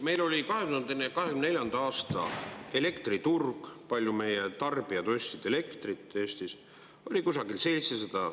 Meil oli 2024. aasta elektriturg, palju meie tarbijad ostsid elektrit Eestis, kusagil 700.